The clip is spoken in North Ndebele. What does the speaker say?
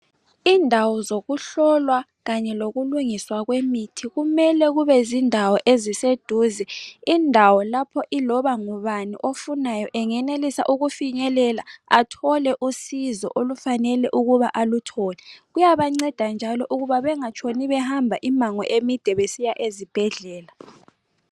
Indawo zokuhlolwa kanye lokulungiswa kwemithi kumele kubezindawo eziseduze, indawo lapho ilona ngubani ofunayo engenelisa ukufinyelela athole usizo olufanele ukuba aluthole. Kuyabanceda njalo ukuba bengatshoni behamba imango emide besiya ezibhedlela.